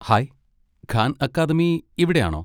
Hi, Khan Academy ഇവിടെ ആണോ?